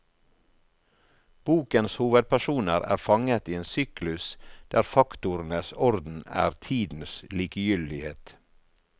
Bokens hovedpersoner er fanget i en syklus der faktorenes orden er tidens likegyldighet.